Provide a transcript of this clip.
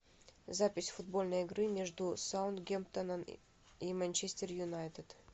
запись футбольной игры между саутгемптоном и манчестер юнайтед